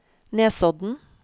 Nesodden